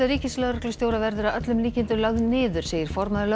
ríkislögreglustjóra verður að öllum líkindum lögð niður segir formaður